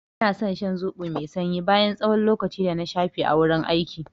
Ina san shan zoɓo mai sanyi bayan tsawon lokaci dana shafe a gurin aiki.